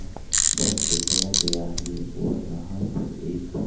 बस दिखाया गया है और यहां पर एक--